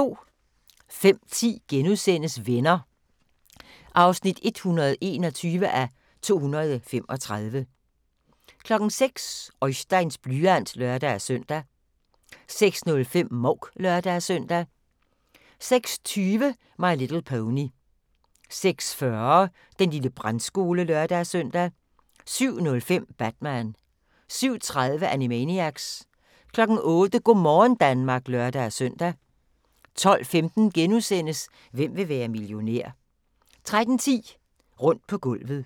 05:10: Venner (121:235)* 06:00: Oisteins blyant (lør-søn) 06:05: Mouk (lør-søn) 06:20: My Little Pony 06:40: Den lille brandskole (lør-søn) 07:05: Batman 07:30: Animaniacs 08:00: Go' morgen Danmark (lør-søn) 12:15: Hvem vil være millionær? * 13:10: Rundt på gulvet